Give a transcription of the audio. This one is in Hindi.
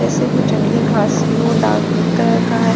जैसे वो जंगली घास ही हो डार्क ग्रीन कलर का है।